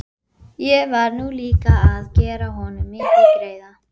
Ég var nú líka að gera honum mikinn greiða.